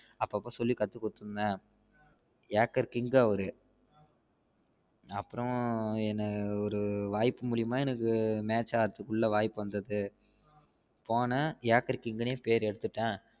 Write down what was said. அப்ப அப்ப சொல்லி கத்து குடுத்திட்டு இருந்தேன் ஏக்கர் king அவரு அப்ரோ என்ன அஹ் ஒரு வாய்ப்பு மூலம்மா எனக்கு match ஆடா வாய்ப்பு வந்தது போனேன் ஏக்கர் கிங்னே பேர் எடுத்திட்டேன்